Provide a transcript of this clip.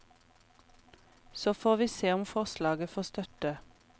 Så får vi se om forslaget får støtte.